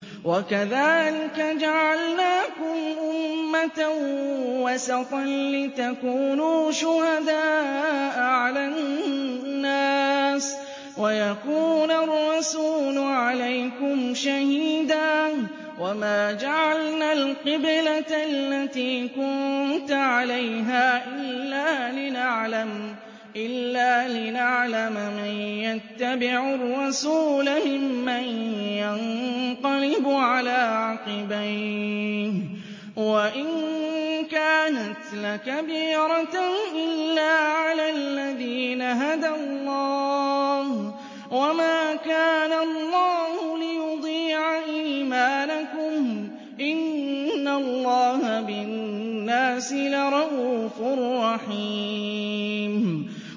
وَكَذَٰلِكَ جَعَلْنَاكُمْ أُمَّةً وَسَطًا لِّتَكُونُوا شُهَدَاءَ عَلَى النَّاسِ وَيَكُونَ الرَّسُولُ عَلَيْكُمْ شَهِيدًا ۗ وَمَا جَعَلْنَا الْقِبْلَةَ الَّتِي كُنتَ عَلَيْهَا إِلَّا لِنَعْلَمَ مَن يَتَّبِعُ الرَّسُولَ مِمَّن يَنقَلِبُ عَلَىٰ عَقِبَيْهِ ۚ وَإِن كَانَتْ لَكَبِيرَةً إِلَّا عَلَى الَّذِينَ هَدَى اللَّهُ ۗ وَمَا كَانَ اللَّهُ لِيُضِيعَ إِيمَانَكُمْ ۚ إِنَّ اللَّهَ بِالنَّاسِ لَرَءُوفٌ رَّحِيمٌ